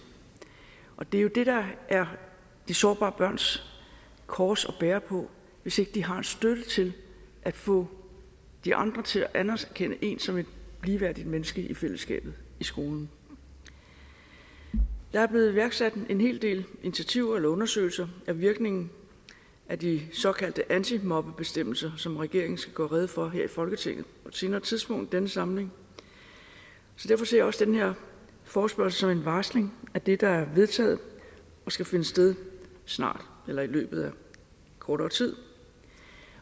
og det er jo det der er de sårbare børns kors at bære hvis ikke de har en støtte til at få de andre til at anerkende dem som ligeværdige mennesker i fællesskabet i skolen der er blevet iværksat en hel del undersøgelser af virkningen af de såkaldte antimobbebestemmelser som regeringen skal gøre rede for her i folketinget på et senere tidspunkt i denne samling så derfor ser jeg også den her forespørgsel som en varsling af det der er vedtaget og skal finde sted snart eller i løbet af kort tid